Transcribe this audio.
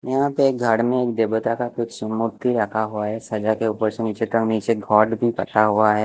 यहाँ पे एक घड़ में एक देबता का कुछ समूर्ति रखा हुआ है सजा के ऊपर से नीचे तक नीचे घाट भी पता हुआ है ।